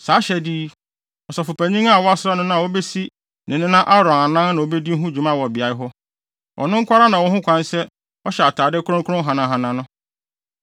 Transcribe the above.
Saa ahyɛde yi, Ɔsɔfopanyin a wɔasra no no a obesi ne nena Aaron anan na obedi ho dwuma wɔ beae hɔ. Ɔno nko ara na ɔwɔ ho kwan sɛ ɔhyɛ atade kronkron hanahana no